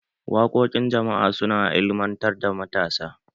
Wakokin jama'a su na ilimantar da matasa.